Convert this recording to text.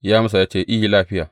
Ya amsa ya ce, I, lafiya.